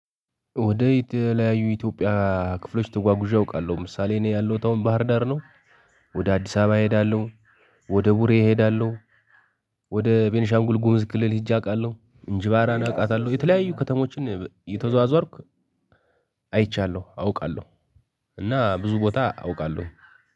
ወደ የተለያዩ ኢትዮጵያ ክፍሎች ተጓጉዤ አውቃለሁ። ምሳሌ እኔ ያለሁት አሁን ባህርዳር ነው ወደ አዲስ አበባ እሄዳለ፤ ወደ ቡሬ እሄዳለሁ፤ ወደ ቤንሻንጉልጉምዝ ክልል ሂጄ አውቃለሁ። እንጅባራን አውቃታለሁ የተለያዩ ከተሞችን እየተዟዟርኩ አይቻለሁ አውቃለሁ። እና ብዙ ቦታ አውቃለሁ።